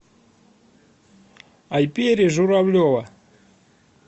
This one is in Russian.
айпери журавлева